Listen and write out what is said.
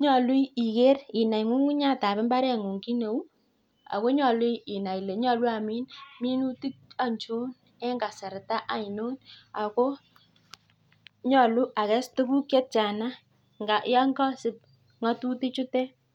nyolu inai ng'ung'unyatab mbareny'ung kit neu. ako nyolu inai ile nyolu amin minutik aichon en kasarta ainon ako nyalu akeses tukuk chetiana yon kasip ng'atutik chutok.